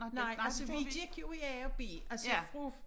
Nej altså vi gik jo i a og b altså fra